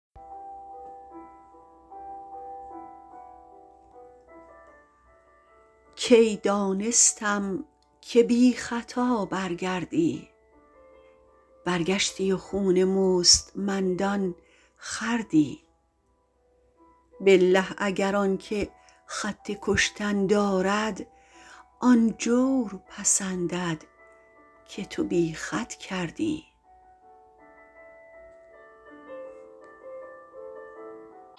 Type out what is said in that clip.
کی دانستم که بیخطا برگردی برگشتی و خون مستمندان خوردی بالله اگر آنکه خط کشتن دارد آن جور پسندد که تو بی خط کردی